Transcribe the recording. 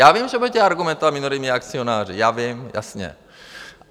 Já vím, že budete argumentovat minoritními akcionáři, já vím, jasně.